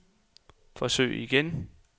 forsøg igen